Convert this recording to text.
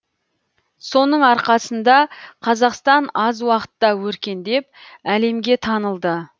соның арқасында қазақстан аз уақытта өркендеп әлемге танылды